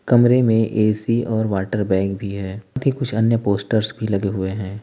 कमरे में ए_सी और वाटर बैग भी है कुछ अन्य पोस्टर्स भी लगे हुए हैं।